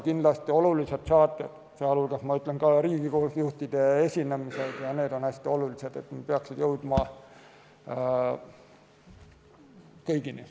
Kindlasti olulised saated, ka Riigikogu juhtide esinemised on hästi olulised, peaksid jõudma kõigini.